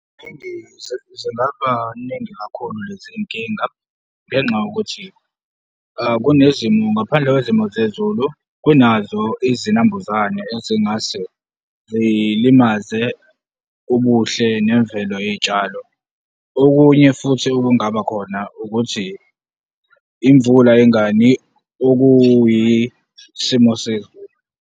Zingaba ningi kakhulu lezi zinkinga ngenxa yokuthi kunezimo ngaphandle kwezimo zezulu, kunazo izinambuzane ezingase zilimaze ubuhle nemvelo yezitshalo. Okunye futhi okungabakhona ukuthi imvula ingani, okuyisimo sezulu.